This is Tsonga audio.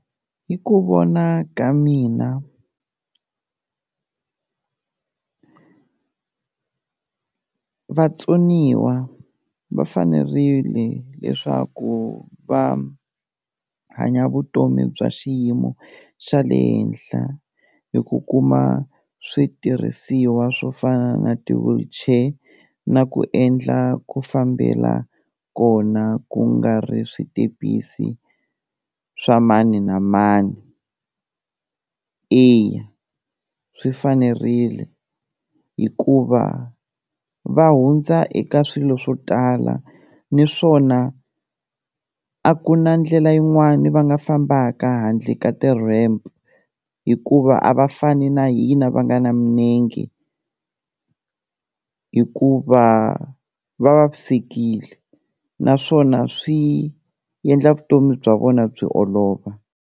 Hi ku vona ka mina vatsoniwa va fanerile leswaku va hanya vutomi bya xiyimo xa le henhla hi ku kuma switirhisiwa swo fana na ti-wheelchair na ku endla ku fambela kona ku nga ri switepisi swa mani na mani, eya swi fanerile hikuva va hundza eka swilo swo tala niswona a ku na ndlela yin'wani va nga fambaka handle ka ti-ramp, hikuva a va fani na hina va nga na minenge hikuva va vavisekile naswona swi endla vutomi bya vona byi olova.